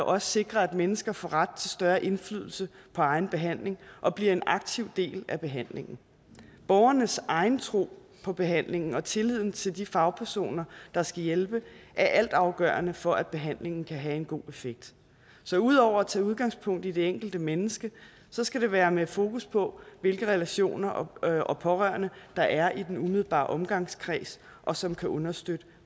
også sikre at mennesker får ret til større indflydelse på egen behandling og bliver en aktiv del af behandlingen borgernes egen tro på behandlingen og tilliden til de fagpersoner der skal hjælpe er altafgørende for at behandlingen kan have en god effekt så ud over at tage udgangspunkt i det enkelte menneske skal det være med fokus på hvilke relationer og pårørende der er i den umiddelbare omgangskreds og som kan understøtte